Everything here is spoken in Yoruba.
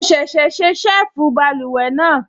Mo ṣẹ̀ṣẹ̀ ṣe ṣẹ́ẹ̀fù báluwẹ̀ náà